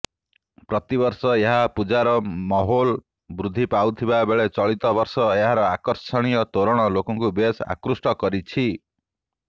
ପ୍ରତିବର୍ଷ ଏହାର ପୂଜାର ମାହୌଲ ବୃଦ୍ଧି ପାଉଥିବାବେଳେ ଚଳିତବର୍ଷ ଏହାର ଆକର୍ଷଣୀୟ ତୋରଣ ଲୋକଙ୍କୁ ବେଶ୍ ଆକୃଷ୍ଟ କରିଛି